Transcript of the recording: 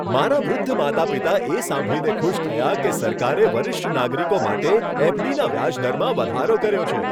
મારા વૃદ્ધ માતા પિતા એ સાંભળીને ખુશ થયા કે સરકારે વરિષ્ઠ નાગરિકો માટે એફડીના વ્યાજદરમાં વધારો કર્યો છે.